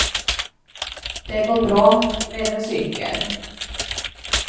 Det går bra med en cykel.